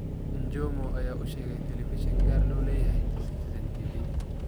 Njomo ayaa u sheegay telefishin gaar loo leeyahay, Citizen TV.